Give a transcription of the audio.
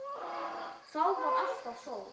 Þá var alltaf sól.